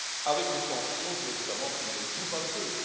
avec des sanctions pour les États membres qui ne jouent pas le jeu.